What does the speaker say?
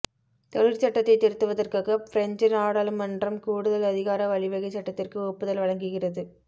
தொழிற்சட்டத்தை திருத்துவதற்காக பிரெஞ்சு நாடாளுமன்றம் கூடுதல் அதிகார வழிவகை சட்டத்திற்கு ஒப்புதல் வழங்குகிறது